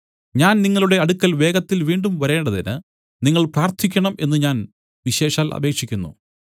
ഞാൻ നിങ്ങളുടെ അടുക്കൽ വേഗത്തിൽ വീണ്ടും വരേണ്ടതിന് നിങ്ങൾ പ്രാർത്ഥിക്കണം എന്നു ഞാൻ വിശേഷാൽ അപേക്ഷിക്കുന്നു